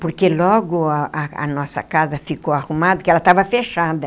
Porque logo a a nossa casa ficou arrumada, porque ela estava fechada.